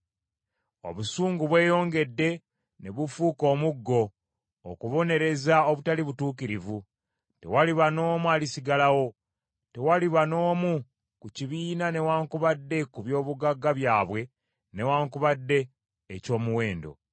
Obusungu bweyongedde ne bufuuka omuggo okubonereza obutali butuukirivu; tewaliba n’omu alisigalawo; tewaliba n’omu ku kibiina newaakubadde ku byobugagga byabwe, newaakubadde eky’omuwendo.